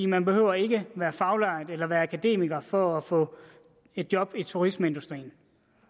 man behøver ikke at være faglært eller være akademiker for at få job i turistindustrien